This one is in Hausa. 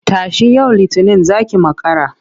Tashi! yau Litinin za ki makara.